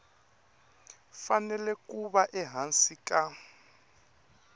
fanele ku va ehansi ka